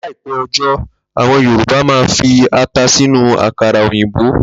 Láìpé̩ o̩jó, àwo̩n Yorùbá á máa fi ata sínú àkàrà òyìnbó